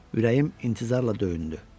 Ürəyim intizarla döyündü.